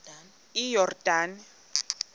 iyordane